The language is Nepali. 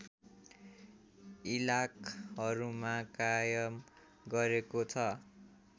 इलाकहरूमा कायम गरेको छ